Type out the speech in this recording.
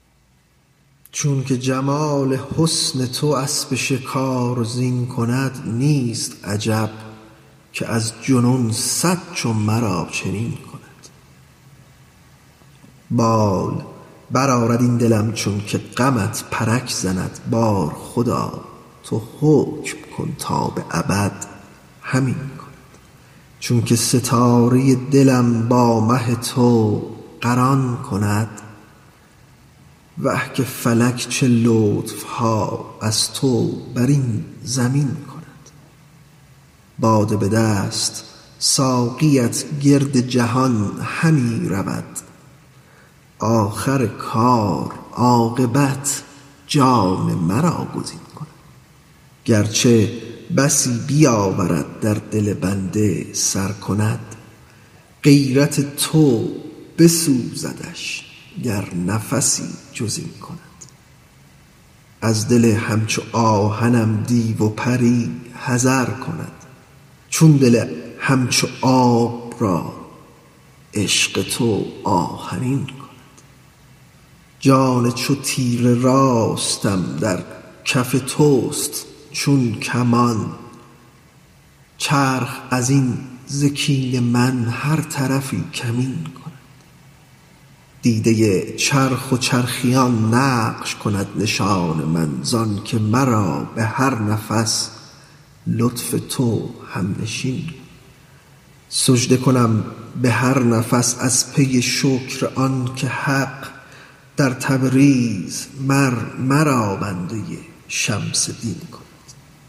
چونک جمال حسن تو اسب شکار زین کند نیست عجب که از جنون صد چو مرا چنین کند بال برآرد این دلم چونک غمت پرک زند بار خدا تو حکم کن تا به ابد همین کند چونک ستاره دلم با مه تو قران کند اه که فلک چه لطف ها از تو بر این زمین کند باده به دست ساقیت گرد جهان همی رود آخر کار عاقبت جان مرا گزین کند گر چه بسی بیاورد در دل بنده سر کند غیرت تو بسوزدش گر نفسی جز این کند از دل همچو آهنم دیو و پری حذر کند چون دل همچو آب را عشق تو آهنین کند جان چو تیر راست من در کف توست چون کمان چرخ از این ز کین من هر طرفی کمین کند دیده چرخ و چرخیان نقش کند نشان من زآنک مرا به هر نفس لطف تو هم نشین کند سجده کنم به هر نفس از پی شکر آنک حق در تبریز مر مرا بنده شمس دین کند